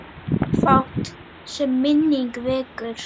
Fátt, sem minning vekur.